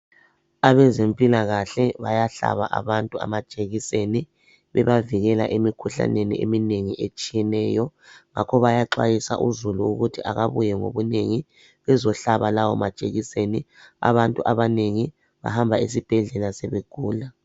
Abezemphilakahle bayahlaba amajekiseni bebavikela emikhuhlaneni eminengi etshiyeneyo. Ngakho bayaxwayisa izulu ukuthi akabuye ngobunengi bezohlaba lawo majekiseni . Abantu abanengi bahamba esibhedlela sebegula